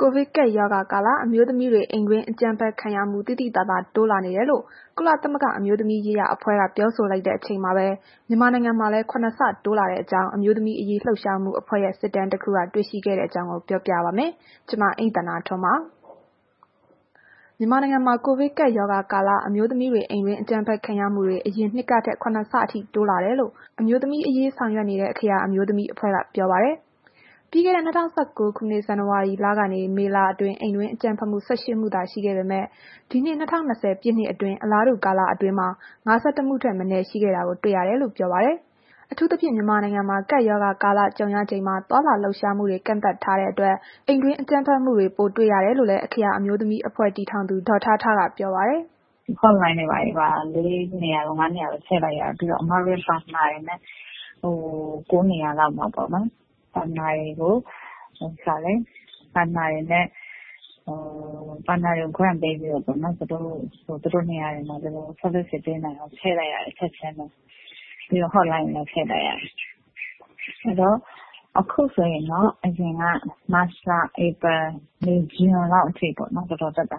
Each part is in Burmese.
ကိုဗစ်ကပ်ရောဂါကာလ အမျိုးသမီးတွေ အိမ်တွင်းအကြမ်းဖက်မှုခံရမှု သိသိသာသာ တိုးလာနေတယ်လို့ ကုလသမဂ္ဂ အမျိုးသမီးရေးရာ အဖွဲ့က ပြောဆိုလိုက်တဲ့ အချိန်မှာပဲ၊ မြန်မာနိုင်ငံမှာလည်း ၇ ဆ တိုးလာတဲ့အကြောင်း အမျိုးသမီးရေး လှုပ်ရှားမှုအဖွဲ့ရဲ့ စစ်တမ်းတခုက တွေ့ရှိခဲ့တဲ့အကြောင်း ပြောပြပါမယ်။ ဗွီအိုအေမြန်မာပိုင်း သတင်းထောက် မအိမ့်သန္တာထွန်းက ပြောပြပေးပါမယ်။ မြန်မာနိုင်ငံမှာ ကိုဗစ်ကပ်ရောဂါကာလ အမျိုးသမီးတွေ အိမ်တွင်းအကြမ်းဖက်ခံရမှုတွေ အရင်နှစ်ကထက် ၇ ဆအထိ တိုးလာတယ်လို့ အမျိုးသမီးအရေးဆောင်ရွက်နေတဲ့ အခရာ အမျိုးသမီးအဖွဲ့က ထုတ်ပြန်လိုက်တဲ့ အစီရင်ခံစာက ဖော်ပြလိုက်ပါတယ်။ ပြီးခဲ့တဲ့ ၂၀၁၉ ဇန်နဝါရီလကနေ မေလအတွင်း အိမ်တွင်းအကြမ်းဖက်မှု ၁၈ မှုသာ ရှိခဲ့ပေမဲ့ ဒီနှစ် ၂၀၂၀ ပြည့်နှစ်အတွင်း အလားတူကာလအတွင်း ၅၁ မှုထက်မနည်း ရှိခဲ့တာ တွေ့ရကြောင်း ပြောဆိုခဲ့တာပါ။ အထူးသဖြင့် မြန်မာနိုင်ငံမှာ ကပ်ရောဂါကာလ ကြုံရချိန်မှာ သွားလာလှုပ်ရှားမှုတွေ ကန့်သတ်ထားချိန်မှာ အိမ်တွင်းအကြမ်းဖက်မှုတွေ ပိုတွေ့ခဲ့ရတယ်လို့လည်း အခရာအမျိုးသမီးအဖွဲ့ တည်ထောင်သူ ဒေါ်ထားထားက ပြောပါတယ်။ “Hot Line တွေဘာတွေပါ ၄ နေရာ၊ ၅ နေရာလောက် ချဲ့လိုက်ရတယ်။ ပြီးတော့ အမတို့ ပါတနာတွေနဲ့ ၉ နေရာလောက်မှာပေါ့နော်။ partner တွေကို Grant ပေးပြီးတော့ပေါ့နော်။ ဘယ်နေရာတွေမှာ ဘယ်လို အကူအညီတွေပေးနိုင်အောင်ဆိုပြီးတော့ ထည့်လိုက်ရတယ် ချက်ချင်းပဲ။ ပြီးတော့ Hot Line တွေလည်းထည့်လိုက်ရတယ်။ အခုဆိုရင်တော့ အရင်က မတ်လ၊ ဧပြီ၊ မေ၊ ဇွန်လောက်အထိပေါ့နော်။ တော်တော်တက်တာ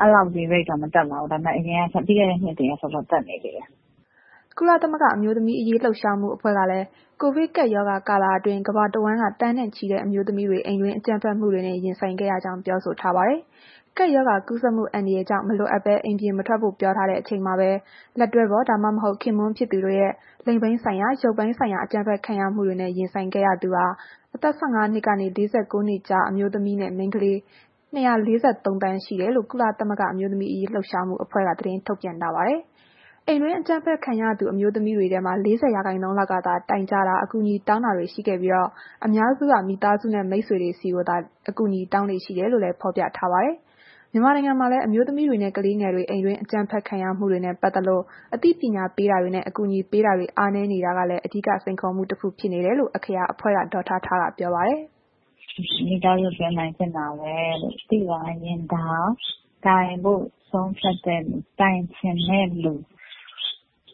ခုတော့ အဲ့ဒီလောက်ထိတော့ တက်မလာတော့ဘူး။ ဒါပေမဲ့ ပြီးခဲ့တဲ့ နှစ်တွေကထက်တော့ တက်နေသေးတယ်။” ကုလသမဂ္ဂ အမျိုးသမီးရေး လှုပ်ရှားမှုအဖွဲ့ကလည်း ကိုဗစ်ကပ်ရောဂါကာလအတွင်း ကမ္ဘာတဝန်းက သန်းနဲ့ချီတဲ့ အမျိုးသမီးတွေ အိမ်တွင်းအကြမ်းဖက်မှုတွေနဲ့ ရင်ဆိုင်ခဲ့ရကြောင်း ပြောဆိုထားပါတယ်။ ကပ်ရောဂါကူးစက်မှု အန္တရာယ်ကြောင့် မလိုအပ်ဘဲ အိမ်ပြင်မထွက်ဖို့ ပြောထားတဲ့အချိန်မှာပဲ လက်တွဲဖော် ဒါမှမဟုတ် ခင်ပွန်းဖြစ်သူတို့ရဲ့ လိင်ပိုင်း၊ ရုပ်ပိုင်းဆိုင်ရာ အကြမ်းဖက်ခံရမှုတွေနဲ့ ရင်ဆိုင်ခဲ့ရသူ အသက် ၁၅ နှစ်ကနေ ၄၉ နှစ်ကြား အမျိုးသမီးနဲ့ မိန်းကလေး ၂၄၃ သန်း ရှိကြောင်း ကုလသမဂ္ဂ အမျိုးသမီးရေး လှုပ်ရှားမှုအဖွဲ့က သတင်းထုတ်ပြန်ခဲ့တာပါ။ အိမ်တွင်းအကြမ်းဖက်ခံရသူ အမျိုးသမီးတွေထဲမှာ ၄၀ ရာခိုင်နှုန်းလောက်ကသာ တိုင်ကြားတာ၊ အကူအညီတောင်းတွေ ရှိခဲ့ပြီး အများစုက မိသားစုနဲ့ မိတ်ဆွေတွေကိုသာ အကူအညီတောင်းလေ့ရှိတယ်လို့လည်း ဖော်ပြထားပါတယ်။ မြန်မာနိုင်ငံမှာလည်း အမျိုးသမီးတွေနဲ့ ကလေးငယ်တွေ အိမ်တွင်းအကြမ်းဖက်ခံရမှုတွေနဲ့ ပတ်သက်လို့ အသိပညာပေးတာတွေနဲ့ အကူအညီပေးတာတွေ အားနည်းနေတာကလည်း အဓိကစိန်ခေါ်မှုတခု ဖြစ်နေတယ်လို့ အခရာအဖွဲ့က ဒေါ်ထားထားကပြောပါတယ်။ “မိသားစုတွင်း အနိုင်ကျင့်တာပဲလို့ သိလာရင်တောင် တိုင်ဖို့ ဆုံးဖြတ်တဲ့လူ တိုင်ချင်တဲ့လူ၊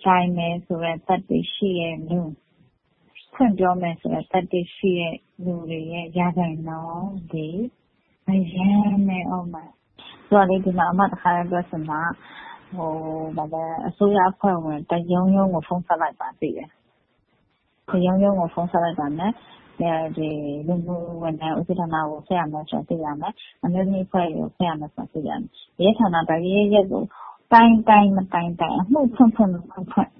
တိုင်မယ်ဆိုတဲ့ သတ္တိရှိတဲ့လူ ဖွင့်ပြောမယ်ဆိုတဲ့ သတ္တိရှိတဲ့သူတွေရဲ့ ရာခိုင်နှုန်းသည် အရမ်းနည်းအုံးမယ်။ ဆိုတော့လေ ဒီမှာ အမ တစ်ခါ တည်းပြောချင်တာက အစိုးရအဖွဲ့ဝင် တစ်ရုံးရုံးကို ဖုန်းဆက်လိုက်ပါ သိရင်။ အဲ့ဒီလိုဆက်လိုက်ရင် လူမှုဝန်ထမ်း ဦးစီးဌာနကို ဆက်ရမယ်ဆိုတာ သိလာမယ်။ အမျိုးသမီးအဖွဲ့တွေကို ဆက်ရမယ်ဆိုတာ သိလာမယ်။ ရဲဌာနကို တိုင်တိုင်၊ မတိုင်တိုင်၊ အမှုဖွင့်ဖွင့်၊ မဖွင့်ဖွင့်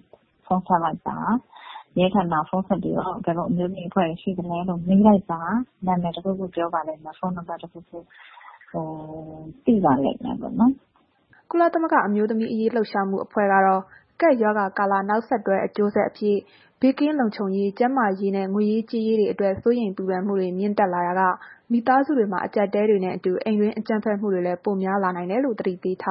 ဖုန်းဆက်လိုက်ပါ။ ရဲဌာနကို ဖုန်းဆက်ပြီး ဘယ်လို အမျိုးသမီးအဖွဲ့တွေ ရှိသလဲလို့ မေးလိုက်ပါ။ နာမည်တစ်ခုခုပြောပါလိမ့်မယ်။ ဖုန်းနံပါတ်တစ်ခုခု ရပါလိမ့်မယ်။” ကုလသမဂ္ဂ အမျိုးသမီးရေး လှုပ်ရှားမှုအဖွဲ့ကတော့ ကပ်ရောဂါကာလရဲ့ နောက်ဆက်တွဲ အကျိုးဆက်အဖြစ် ဘေးကင်းလုံခြုံရေး၊ ကျန်းမာရေးနဲ့ ငွေရေးကြေးရေးအတွက် စိုးရိမ်ပူပန်မှုတွေ မြင့်တက်လာရာက မိသားစုတွေမှာ အကြပ်အတည်းတွေနဲ့အတူ အိမ်တွင်းအကြမ်းဖက်မှုတွေလည်း ပိုများလာနိုင်တယ်လို့ သတိပေးထား